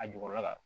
A jukɔrɔla kan